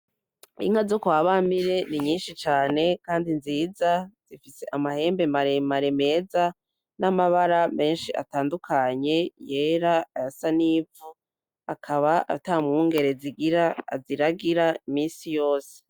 Inka zo kwa Bamire ni nyinshi cane kandi nziza, zifise amahembe maremare meza n'amabara menshi atandukanye yera, ayasa n'ivu. Akaba ata mwungere zigira aziragira minsi yose.